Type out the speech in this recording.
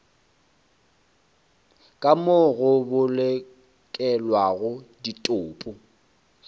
ka moo go bolokelwago ditopo